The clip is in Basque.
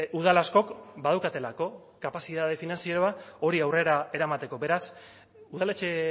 udal askok badaukatelako kapazitate finantzieroa hori aurrera eramateko beraz udaletxe